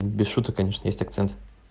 без шуток конечно есть акцент